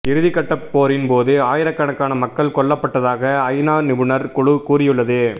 இறுதிக்கட்டப் போரின்போது ஆயிரக்கணக்கான மக்கள் கொல்லப்பட்டதாக ஐநா நிபுணர் குழு கூறியுள்ளது